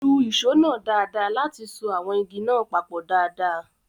Lu ìṣó náà dáadáa láti so àwọn igi náà papọ̀ dáadáa